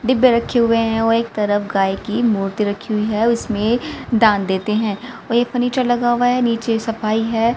डिब्बे रखे हुए हैं और एक तरफ गाय की मूर्ति रखी हुई है उसमें दान देते हैं और एक फर्नीचर लगा हुआ हैं नीचे सफाई है।